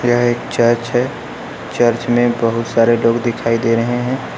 यह एक चर्च है चर्च में बहुत सारे लोग दिखाई दे रहे हैं।